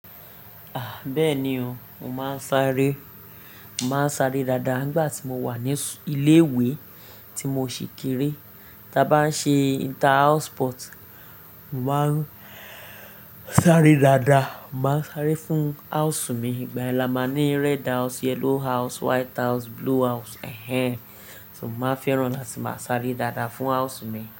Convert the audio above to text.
Ah! Bẹ́ẹ̀ni o, mo máa ń sáré. Mo máa ń sáré dáadáa nígbà tí mo wà ní ilé ìwé tí mo ṣì kéré. Tí a bá ń ṣe inter house sport, mo máa ń sáré dáadáa. Mo maa n sáré fún house mi ìgbà ẹ́ la máa ní red house, yellow house, white house, blue house. Ehen. Mo máa fẹ́ràn láti máa sáré dáadáa fún house mi.